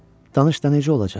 Danış da necə olacaq?